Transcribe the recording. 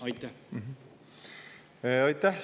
Aitäh!